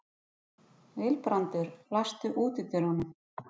Vilbrandur, læstu útidyrunum.